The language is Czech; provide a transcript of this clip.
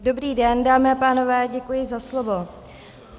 Dobrý den, dámy a pánové, děkuji za slovo.